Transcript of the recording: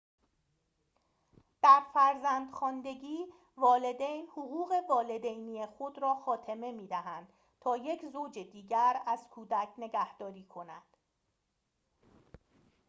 در فرزندخواندگی والدین حقوق والدینی خود را خاتمه می‌دهند تا یک زوج دیگر از کودک نگهداری کنند